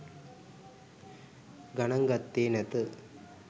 ගණන් ගත්තේ නැත.